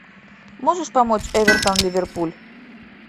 можешь помочь эвертон ливерпуль